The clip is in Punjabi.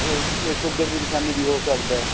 ਉਹ ਇਹ sugar ਦੀ ਨਿਸ਼ਾਨੀ ਵੀ ਉਹ ਕਰਦਾ